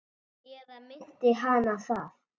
Eða minnti hana það?